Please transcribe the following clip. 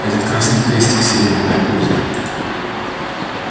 этот красный крестик селеновое озеро